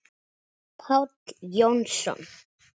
Páll Jónsson